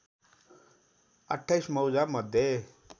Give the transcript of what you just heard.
२८ मौजा मध्ये